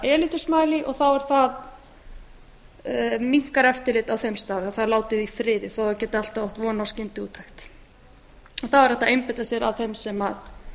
smiley og þá minnkar það eftirlit á þeim stað eða það er látið í friði þó að það geti alltaf átt von á skyndiúttekt þá er hægt að einbeita sér að þeim sem